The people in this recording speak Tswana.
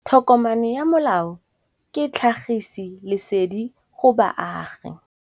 Tokomane ya molao ke tlhagisi lesedi go baagi.